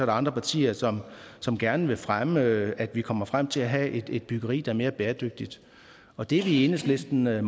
andre partier som som gerne vil fremme at vi kommer frem til at have et byggeri der er mere bæredygtigt og det er vi i enhedslisten meget